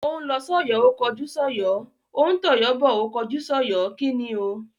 Ó ń lọ sọ́yọ̀ ó kọjú sọ́yọ̀, ó ń tọ̀yọ́ bọ̀ ó kọjú sọ́yọ̀. kíni o?